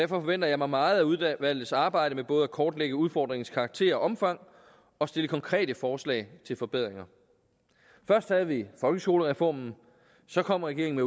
forventer jeg mig meget af udvalgets arbejde med både at kortlægge udfordringens karakter og omfang og stille konkrete forslag til forbedringer først havde vi folkeskolereformen så kom regeringen